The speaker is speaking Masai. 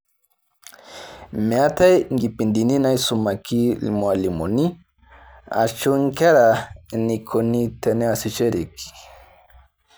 Meetae inkipindini naaisumaki irmalimuni ashu nkera eneikoni teneasishoreki.